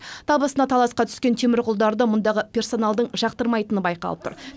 табысына таласқа түскен темірқұлдарды мұндағы персоналдың жақтырмайтыны байқалып тұр